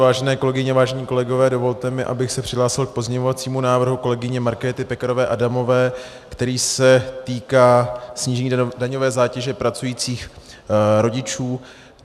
Vážené kolegyně, vážení kolegové, dovolte mi, abych se přihlásil k pozměňovacímu návrhu kolegyně Markéty Pekarové Adamové, který se týká snížení daňové zátěže pracujících rodičů.